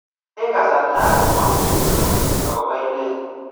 Eng' kasarta age ko mami lokoi akopo inet